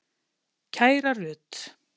Kæra Rut.